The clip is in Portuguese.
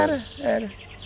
Era, era.